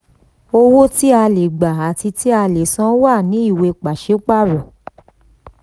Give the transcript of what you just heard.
owó tí a le gba àti tí a le san wà ní ìwé pàsípàrọ̀.